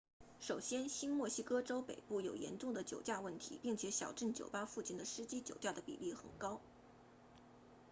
首先新墨西哥州北部有严重的酒驾问题并且小镇酒吧附近的司机酒驾的比例很高